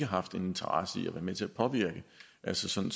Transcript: haft en interesse i at være med til at påvirke altså sådan